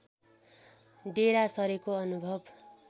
डेरा सरेको अनुभव